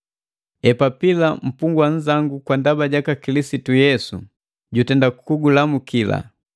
Epafula mpungwa nnzangu kwa ndaba jaka Kilisitu Yesu, jutenda kugulamuki.